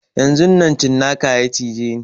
Yanzun nan cinkan ya cije ni